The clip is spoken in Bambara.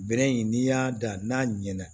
Bɛrɛ in n'i y'a dan n'a ɲɛna